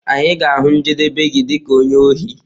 Anyị ga-ahụ njedebe gi dị ka onye ohi.